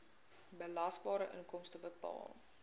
belasbare inkomste bepaal